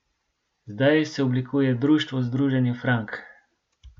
Zdaj se oblikuje društvo Združenje frank.